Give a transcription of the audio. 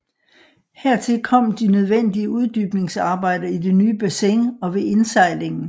Hertil kom de nødvendige uddybningsarbejder i det nye bassin og ved indsejlingen